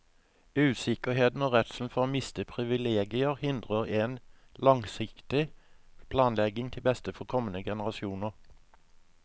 Usikkerheten og redselen for å miste privilegier hindrer en langsiktig planlegging til beste for kommende generasjoner.